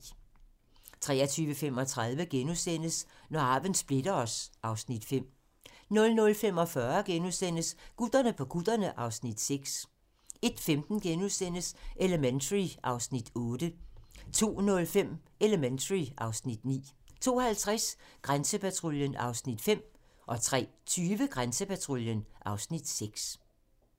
23:35: Når arven splitter os (Afs. 5)* 00:45: Gutterne på kutterne (Afs. 6)* 01:15: Elementary (Afs. 8)* 02:05: Elementary (Afs. 9) 02:50: Grænsepatruljen (Afs. 5) 03:20: Grænsepatruljen (Afs. 6)